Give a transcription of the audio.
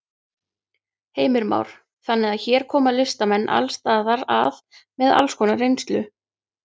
Heimir Már: Þannig að hér koma listamenn alls staðar að með alls konar reynslu?